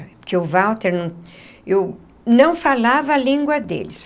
Porque o Walter... Eu não falava a língua deles.